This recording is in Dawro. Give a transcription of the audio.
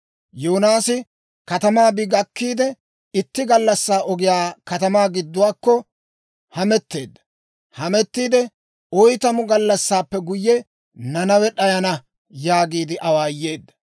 Yoonaasi katamaa bi gakkiide, itti gallassaa ogiyaa katamaa giduwaakko hametteedda; hamettiidde, «Oytamu gallassaappe guyye, Nanawe d'ayana» yaagiide awaayeedda.